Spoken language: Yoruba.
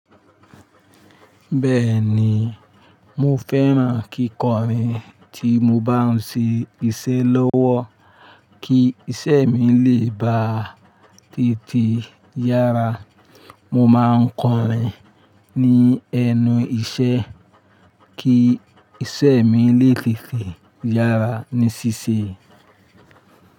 Bẹ́ẹ̀ni, mo fẹ́ran kíkọrin tí mo bá ń ṣe iṣẹ́ lọ́wọ́ kí iṣẹ́ mi lè ba tètè yára. Mo máa ń kọrin ní ẹnu iṣẹ́ kí iṣẹ́ mi lè tètè yára ní ṣíṣe.